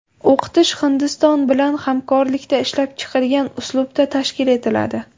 O‘qitish Hindiston bilan hamkorlikda ishlab chiqilgan uslubda tashkil etiladi.